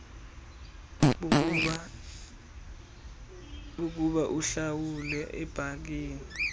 bokuba uhlawule ebhankini